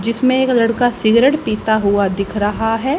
जिसमें एक लड़का सिगरेट पीता हुआ दिख रहा है।